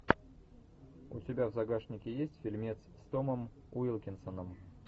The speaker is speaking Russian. у тебя в загашнике есть фильмец с томом уилкинсоном